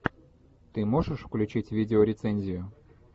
ты можешь включить видеорецензию